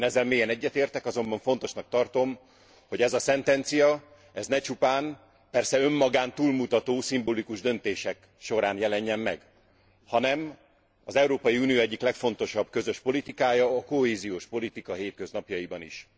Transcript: Én ezzel mélyen egyetértek, azonban fontosnak tartom, hogy ez a szentencia ne csupán persze önmagán túlmutató szimbolikus döntések során jelenjen meg, hanem az Európai Unió egyik legfontosabb közös politikája, a kohéziós politika hétköznapjaiban is.